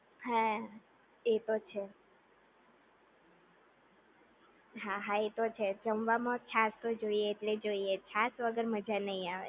હા એ તો છે. હા હા એ તો છેજ જમવા મા છાશ તો જોયેજ ને જોયેજ છાશ વગર મજા નહિ આવે